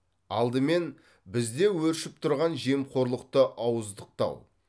алдымен бізде өршіп тұрған жемқорлықты ауыздықтау